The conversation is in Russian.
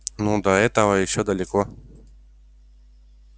ну до этого ещё далеко